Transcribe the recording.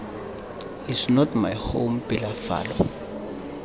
is not my home pelafalo